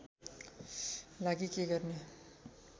लागि के गर्ने